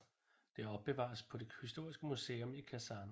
Det opbevares på det historiske museum i Kasan